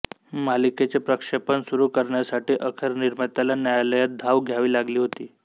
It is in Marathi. मालिकेचे प्रक्षेपण सुरू करण्यासाठी अखेर निर्मात्याला न्यायालयात धाव घ्यावी लागली होती